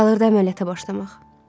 Qalırdı əməliyyata başlamaq.